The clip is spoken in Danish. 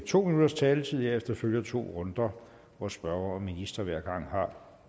to minutters taletid og herefter følger to runder hvor spørger og minister hver gang har